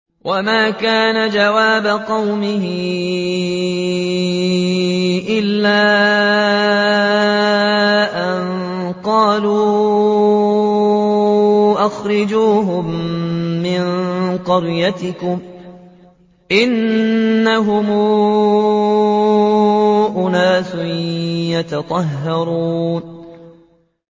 وَمَا كَانَ جَوَابَ قَوْمِهِ إِلَّا أَن قَالُوا أَخْرِجُوهُم مِّن قَرْيَتِكُمْ ۖ إِنَّهُمْ أُنَاسٌ يَتَطَهَّرُونَ